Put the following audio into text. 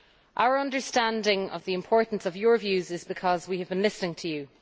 Our understanding of the importance of your views is because we have been listening to you.